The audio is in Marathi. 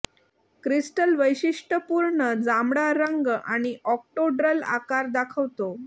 क्रिस्टल वैशिष्ट्यपूर्ण जांभळा रंग आणि ऑक्टोड्रल आकार दाखवतो